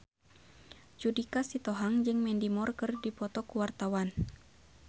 Judika Sitohang jeung Mandy Moore keur dipoto ku wartawan